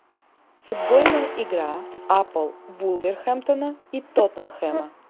футбольная игра апл вулверхэмптона и тоттенхэма